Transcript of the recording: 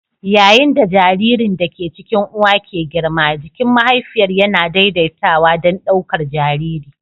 Yayin da jaririn da ke cikin uwa ke girma, jikin mahaifiyar yana daidaitawa don ɗaukar jariri.